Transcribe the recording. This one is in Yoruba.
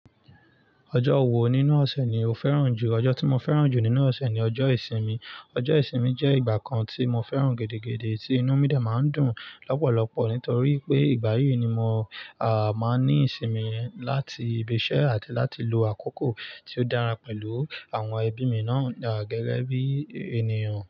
Ọjọ́ wo nínú ọ̀sẹ̀ ni o fẹ́ràn jù? Ọjọ́ tí mo fẹ́ràn jù nínú ọ̀sẹ̀ ni ọjọ́ ìsinmi. Ọjọ́ ìsinmi jẹ́ ìgbà kan tí mo fẹ́ràn gidi, tí inú mi dà máa ń dùn lọ́pọ̀lọpọ̀ nítorí pé ìgbà yí ni mo à máa ní ìsinmi láti ibi iṣẹ́ àti láti lo àkókò tí ó dára pẹ̀lú àwọn ẹbí mi náà gẹ́gẹ́ bí ènìyàn.